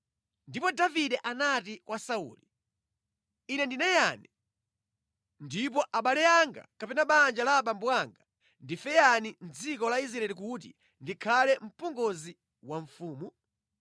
Ndipo Davide anati kwa Sauli, “Ine ndine yani, ndipo abale anga kapena banja la abambo anga ndife yani mʼdziko la Israeli kuti ndikhale mpongozi wa mfumu?”